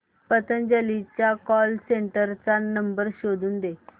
पतंजली च्या call centre चा number शोधून दे